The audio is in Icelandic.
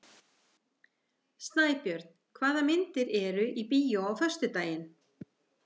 Snæbjörn, hvaða myndir eru í bíó á föstudaginn?